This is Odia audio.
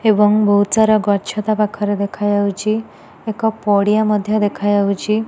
ଏବଂ ବହୁତ ସାରା ଗଛ ତା ପାଖରେ ଦେଖାଯାଉଚି। ଏକ ପଡ଼ିଆ ମଧ୍ୟ ଦେଖାଯାଉଛି।